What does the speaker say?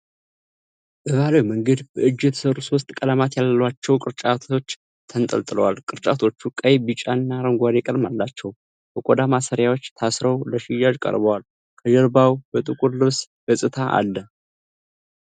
በባህላዊ መንገድ በእጅ የተሰሩ ሶስት ቀለማት ያሏቸው ቅርጫቶች ተንጠልጥለዋል። ቅርጫቶቹ ቀይ፣ ቢጫና አረንጓዴ ቀለም አላቸው። በቆዳ ማሰሪያዎች ታስረው ለሽያጭ ቀርበዋል። ከጀርባው የጥቁር ልብስ ገጽታ አለ።